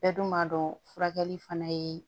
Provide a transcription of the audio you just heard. Bɛɛ dun b'a dɔn furakɛli fana ye